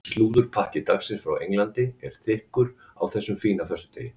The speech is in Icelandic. Slúðurpakki dagsins frá Englandi er þykkur á þessum fína föstudegi.